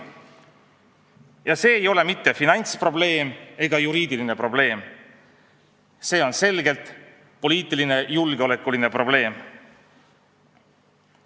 Ja see ei ole mitte finantsprobleem ega juriidiline probleem, see on selgelt poliitiline, julgeolekuline probleem.